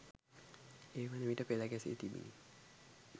ඒ වන විට පෙළ ගැසීි තිබිණි.